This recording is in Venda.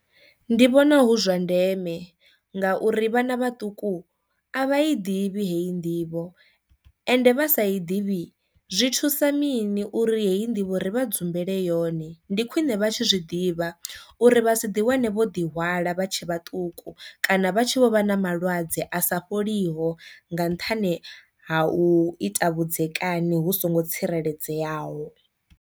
Ndi vhona hu zwa ndeme ngauri vhana vhaṱuku a vha i ḓivhi heyi nḓivho ende vha sa i ḓivhi zwi thusa mini uri heyi nḓivho ri vha dzumbele yone ndi khwine vha tsho zwi ḓivha uri vha si ḓi wane vho ḓi hwala vha tshe vhaṱuku kana vha tshi vho vha na malwadze a sa fholiho nga nṱhani ha u ita vhudzekani hu songo tsireledzeaho.